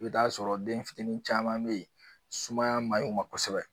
I bi t'a sɔrɔ den fitinin caman be yen sumaya maɲi u ma kosɛbɛ